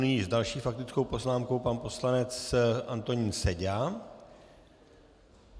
Nyní s další faktickou poznámkou pan poslanec Antonín Seďa.